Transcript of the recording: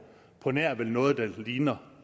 på nær vel noget der ligner